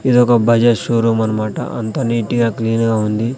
ఇదొక బజాజ్ షోరూం అన్నమాట అంతా నీటిగా క్లీన్ గా ఉంది.